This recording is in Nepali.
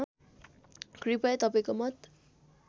कृपया तपाईँको मत